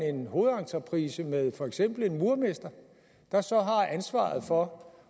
en hovedentreprise med for eksempel en murermester der så har ansvaret for